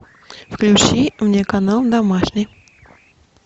включи мне канал домашний